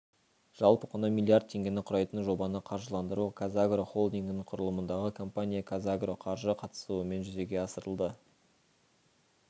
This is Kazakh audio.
жалпы құны млрд теңгені құрайтын жобаны қаржыландыру қазагро холдингінің құрылымындағы компания қазагроқаржы қатысуымен жүзеге асырылды